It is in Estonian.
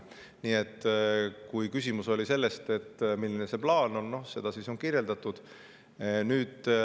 Nii et kui küsimus oli, milline plaan on, siis seda on nüüd kirjeldatud.